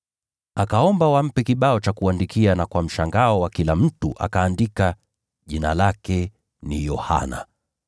Akaomba wampe kibao cha kuandikia na kwa mshangao wa kila mtu akaandika: “Jina lake ni Yohana.”